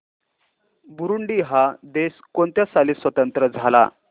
Burundi हा देश कोणत्या साली स्वातंत्र्य झाला